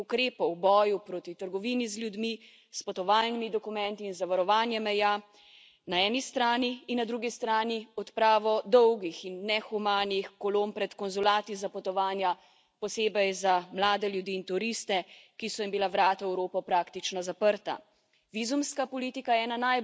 Pomenila je sprejem vrste pomembnih ukrepov v boju proti trgovini z ljudmi, s potovalnimi dokumenti in z varovanjem meja na eni strani in na drugi strani odpravo dolgih in nehumanih kolon pred konzulati za potovanja posebej za mlade ljudi in turiste, ki so jim bila vrata v Evropo praktično zaprta.